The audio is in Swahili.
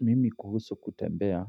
Mimi kuhusu kutembea,